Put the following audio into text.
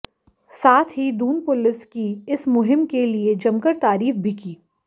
साथ ही दून पुलिस की इस मुहिम के लिए जमकर तारीफ भी की